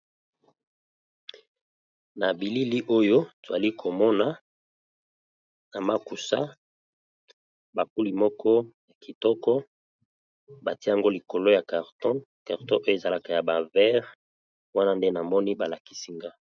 na bilili oyo twali komona na makusa bakuli moko ya kitoko batiango likolo ya carton carton oyo ezalaka ya bavere wana nde na moni balakisinga